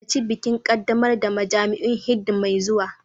Halarci bikin ƙaddamar da majami'un Hindu mai zuwa